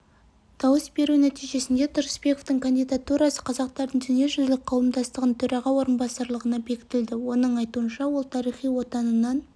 дауыс беру нәтижесінде тұрысбековтың кандидатурасы қазақтардың дүниежүзілік қауымдастығының төраға орынбасарлығына бекітілді оның айтуынша ол тарихи отанынан